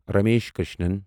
Ramesh Krishnan